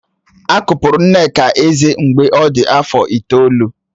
A kụpụrụ Nneka eze mgbe ọ dị afọ itoolu